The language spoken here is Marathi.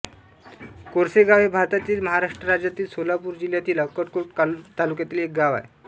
कोरसेगाव हे भारतातील महाराष्ट्र राज्यातील सोलापूर जिल्ह्यातील अक्कलकोट तालुक्यातील एक गाव आहे